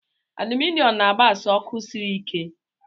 Aluminọm na-agbasa ọkụ sịrị ike.